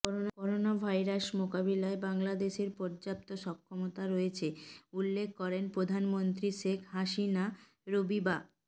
coronavirus মোকাবিলায় বাংলাদেশের পর্যাপ্ত সক্ষমতা রয়েছে উল্লেখ করে প্রধানমন্ত্রী শেখ হাসিনা রবিবা